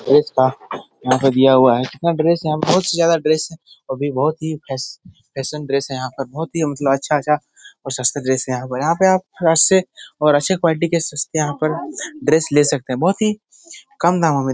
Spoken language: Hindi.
ड्रेस का यहाँ पे दिया हुआ है। कितना ड्रेस यहाँ पे बहुत ही ज्यादा ड्रेस वो भी बहुत ही फैश फैशन ड्रेस है यहाँ पर। बहुत ही मतलब अच्छा-अच्छा और सस्ते ड्रेस हैं यहाँ पर। यहाँ पर आप और अच्छे क़्वालिटी के सस्ते यहाँ पर ड्रेस ले सकते हैं। बहुत ही कम दामों में --